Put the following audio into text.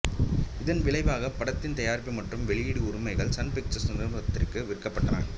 இதன் விளைவாக படத்தின் தயாரிப்பு மற்றும் வெளியீட்டு உரிமைகள் சன் பிக்சர்ஸ் நிறுவனத்திற்கு விற்கப்பட்டன